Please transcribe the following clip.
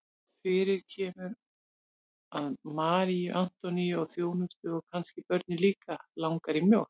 Fyrir kemur að Maríu Antoníu og þjónustuna og kannski börnin líka langar í mjólk.